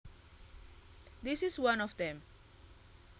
This is one of them